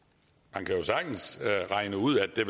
man kan jo sagtens regne ud at